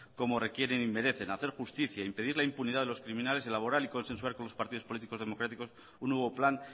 como requieren y merecen hacer justicia impedir la impunidad de los criminales elaborar y consensuar con los partidos políticos democráticos un nuevo plan